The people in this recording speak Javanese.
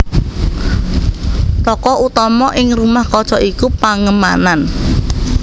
Tokoh utama ing Rumah Kaca iku Pangemanann